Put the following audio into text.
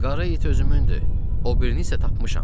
Qara it özümündür, o birini isə tapmışam.